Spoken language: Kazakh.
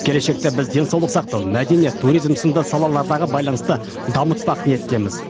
келешекте біз денсаулық сақтау мәдениет туризм сынды салалардағы байланысты дамытпақ ниеттеміз